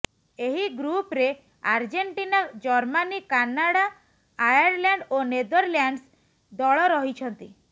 ଏହି ଗ୍ରୁପ୍ରେ Argentina Germany Canada Ireland ଓ ନେଦରଲାଣ୍ଡ୍ସ ଦଳ ରହିଛନ୍ତି